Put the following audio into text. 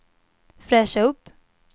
fräscha upp